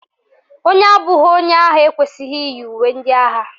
Onye abụghị onye agha ekwesịghị iyi uwe ndị agha